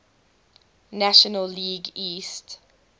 national league east